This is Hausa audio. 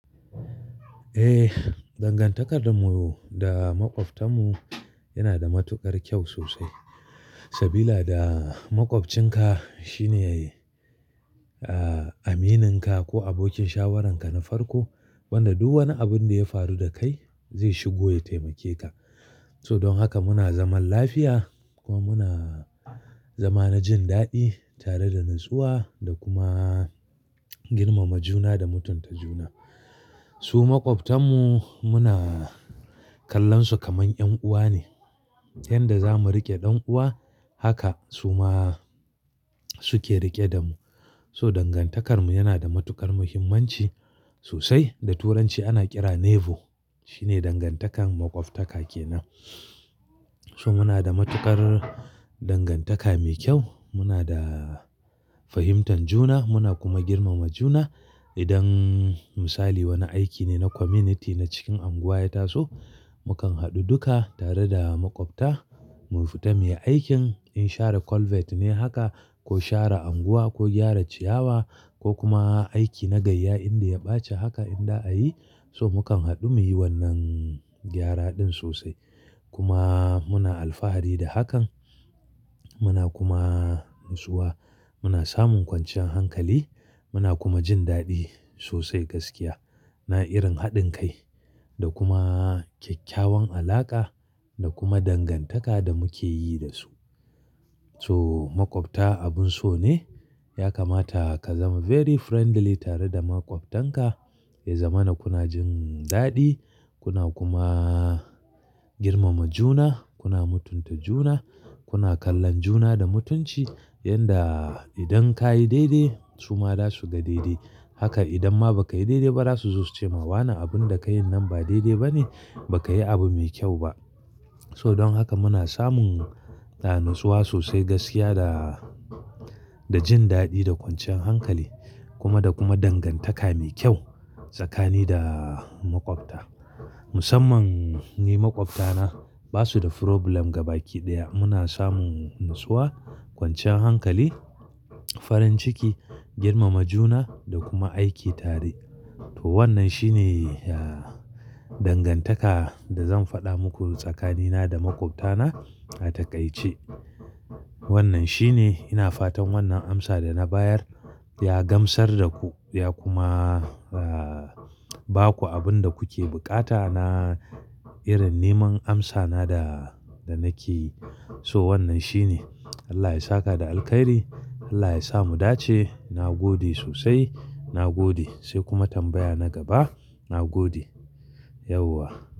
Eh, dangantakar mu da maƙwabtan mu yana da matuƙar kyau sosai. Sabila da maƙwabcinka shine ya yi,, aminin ka ko abokin shawarar ka na farko wanda duk wani abun da ya faru da kai zai shigo ya taimake ka. So don haka muna zaman lafiya kuma muna zama na jin daɗi tare da natsuwa da kuma girmama juna da mutunta juna. Su maƙwabtan mu muna kallon su kamar ƴan'uwa ne. Yanda zamu riƙe ɗan'uwa haka su ma suke riƙe da mu. So dangantakar mu yana da matuƙar muhimmanci sosai. Da turanci ana ƙira neighbour. Shi ne dangantakar maƙwabta ke nan. So muna da matuƙar dangantaka mai kyau. Muna da fahimtar juna muna kuma girmama juna. Idan misali wani aiki ne na community na cikin unguwa ya taso, mu kan haɗu duka tare da maƙwabta mu fita muyi aikin. In share culvert ne haka ko share unguwa ko gyara ciyawa ko kuma aiki na gayya inda ya ɓaci haka inza a yi so mu kan haɗu muyi wannan gyara ɗin sosai. Kuma muna alfahari da hakan. Muna kuma natsuwa. Muna samun kwanciyan hankali muna kuma jin daɗi sosai gaskiya. Na irin haɗin kai da kuma kyakkyawan alaƙa da kuma dangantaka da muke yi da su. So maƙwabta abun so ne. Ya kamata ka zama very friendly tare da maƙwabtanka. Ya zama na kuna jin daɗi kuna kuma girmama juna, kuna mutunta juna, kuna kallon juna da mutunci. Yanda idan ka yi daidai su ma za su ga daidai. Haka idan ma ba ka yi daidai ba za su zo su ce ma wa na abun da ka yi nan ba daidai ba ne, ba ka yi abu mai kyau ba. So don haka muna samun, natsuwa sosai gaskiya da, da jin daɗi da kwanciyan hankali kuma da kuma dangantaka mai kyau tsakani da maƙwabta. Musamman ni maƙwabta na ba su da problem gaba ki ɗaya. Muna samun natsuwa, kwanciyan hankali, farin ciki, girmama juna da kuma aiki tare. To wannan shi ne, ya, dangantaka da zan faɗa muku tsakanina da makwabta na a takaice. Wannan shi ne. Ina fatan wannan amsa da na bayar ya gamsar da ku ya kuma,, ba ku abin da kuke buƙata na irin neman amsa na da, da na ke yi. So wannan shi ne. Allah ya saka da alkhairi. Allah ya sa mu dace. Na gode sosai. Na gode sai kuma tambaya na gaba. Na gode. Yauwa.